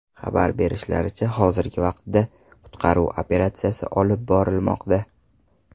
Xabar berishlaricha, hozirgi vaqtda qutqaruv operatsiyasi olib borilmoqda.